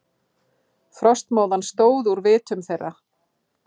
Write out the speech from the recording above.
Frostmóðan stóð úr vitum þeirra.